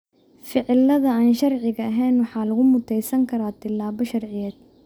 Ficilada aan sharciga ahayn waxaa lagu muteysan karaa tilaabo sharciyed.